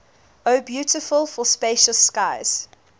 o beautiful for spacious skies